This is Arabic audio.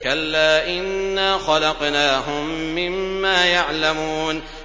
كَلَّا ۖ إِنَّا خَلَقْنَاهُم مِّمَّا يَعْلَمُونَ